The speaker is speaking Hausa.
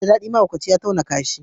Abin ba dadi, mahaukaci ya tauna kasha.